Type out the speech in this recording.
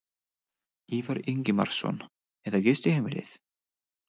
Ívar Ingimarsson: Eða gistiheimilið?